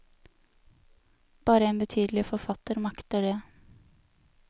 Bare en betydelig forfatter makter det.